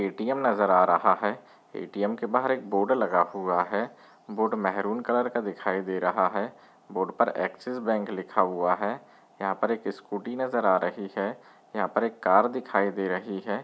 ATM नजर आ रहा है ए_टी_एम के बहार एक बोर्ड लगा हुआ है बोर्ड मेहरून कलर का दिखाई दे रहा है बोर्ड पर एक्सिस बैंक लिखा हुआ है यहाँ पर एक स्कूटी नजर आ रही है यहाँ पर एक कार दिखाई दे रही है।